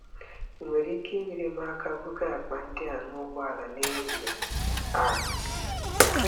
Ị nwere ike inyere m aka buga akpa ndị a n'ụgbọala n'ehihie a?